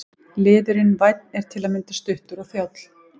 Liðurinn- vænn er til að mynda stuttur og þjáll.